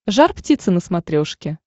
жар птица на смотрешке